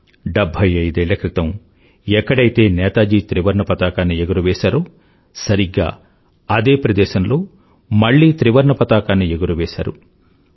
75ఏళ్ల క్రితం ఎక్కడైతే నేతాజీ త్రివర్ణపతాకాన్ని ఎగురవేశారో సరిగ్గా అదే ప్రదేశంలో మళ్ళీ త్రివర్ణపతాకాన్ని ఎగురవేశారు